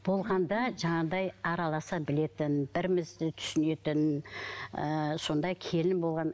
болғанда жаңағыдай араласа білетін бірімізді түсінетін ыыы сондай келін болған